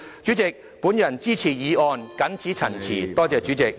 主席，我支持議案，謹此陳辭。